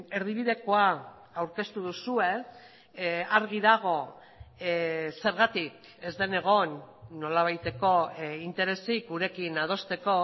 erdibidekoa aurkeztu duzue argi dago zergatik ez den egon nolabaiteko interesik gurekin adosteko